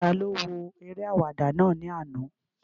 Taló wo eré àwàdà náà ní àná?